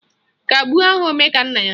Kagbuo aha Omekannaya